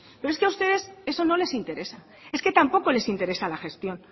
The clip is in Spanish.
pero es que a ustedes eso no les interesa es que tampoco les interesa la gestión